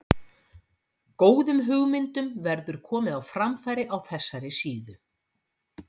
Góðum hugmyndum verður komið á framfæri á þessari síðu.